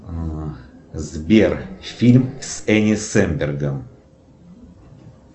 сбер фильм с эни сэмбергом